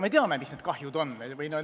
Me teame, kui suur see kahju on.